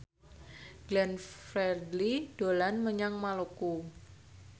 Glenn Fredly dolan menyang Maluku